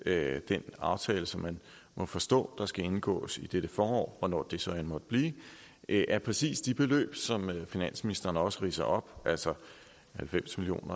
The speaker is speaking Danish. med den aftale som man må forstå der skal indgås i dette forår hvornår det så end måtte blive er præcis de beløb som finansministeren også ridser op altså halvfems million